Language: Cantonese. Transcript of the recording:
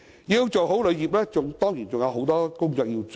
要做好旅遊業，當然還有很多工作需要做。